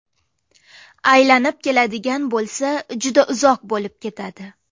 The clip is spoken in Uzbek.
Aylanib keladigan bo‘lsa, juda uzoq bo‘lib ketadi.